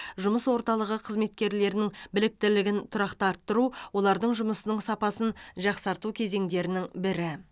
жұмыс орталығы қызметкерлерінің біліктілігін тұрақты арттыру олардың жұмысының сапасын жақсарту кезеңдерінің бірі